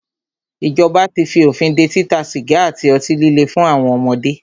Ìjọba tí fí òfin dé títa sìgá àti ọtí líle fún àwọn ọmọdé.